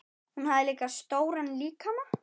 Hún hafði stóran líkama.